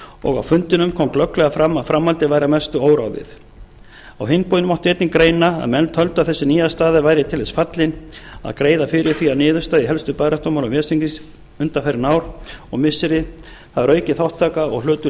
og á fundinum kom glögglega fram að framhaldið væri að mestu óráðið á hinn bóginn mátti einnig greina að menn töldu að þessi nýja staða væri til þess fallin að greiða fyrir því að niðurstaða í helstu baráttumálum ves þingsins undanfarin ár og missiri það er aukin þátttaka og hlutur